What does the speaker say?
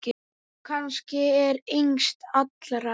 Kannski ekki yngst allra.